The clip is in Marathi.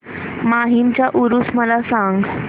माहीमचा ऊरुस मला सांग